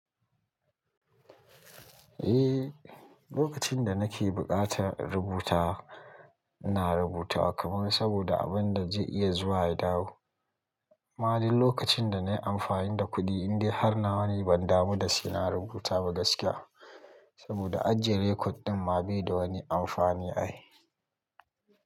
Eh, lokacin da nake buƙatar rubuta, ina rubuta kamar saboda abun da zai iya zuwa ya dawo. Ma dai lokacin da nayi amfani da kuɗi, indai har na wane ban damu da sena rubuta ba gaskiya. Saboda ajjiye rikod din ma bai da wani amfani ai.